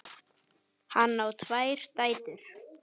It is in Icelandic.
Hann á tvær dætur.